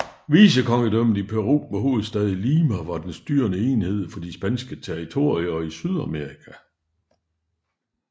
Vicekongedømmet i Peru med hovedstad i Lima var den styrende enhed for de spanske territorier i Sydamerika